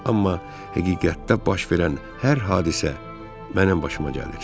Amma həqiqətdə baş verən hər hadisə mənim başıma gəlir.